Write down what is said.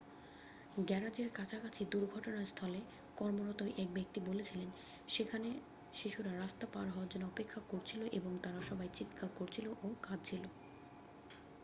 "গ্যারাজের কাছাকাছি দুর্ঘটনাস্থলে কর্মরত এক ব্যক্তি বলেছিলেন: "সেখানে শিশুরা রাস্তা পার হওয়ার জন্য অপেক্ষা করছিল এবং তারা সবাই চিৎকার করছিল ও কাঁদছিল।"